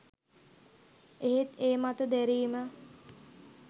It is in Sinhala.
එහෙත් ඒ මත දැරීම